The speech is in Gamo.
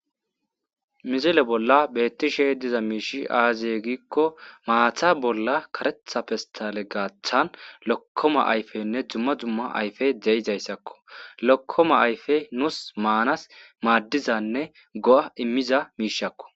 Misile bolla beettishe diza miishi aaziye gikko maatha bolla karetha pistale gaaththan lokkoma ayfenne dumma dumma ayfe de7izayssakko lokkoma ayfey nuus maanas maaddizanne go7a immiza miishakko